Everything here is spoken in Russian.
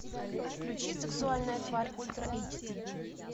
включи сексуальная тварь ультра эйч ди